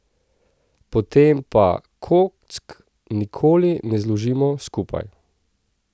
Potem pa kock nikoli ne zložimo skupaj.